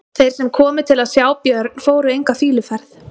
Þeir sem komu til að sjá Björn fóru enga fýluferð.